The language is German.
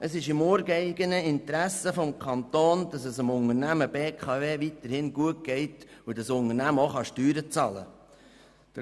Es ist im ureigenen Interesse des Kantons, dass es der Unternehmung BKW weiterhin gut geht und sie auch Steuern bezahlen kann.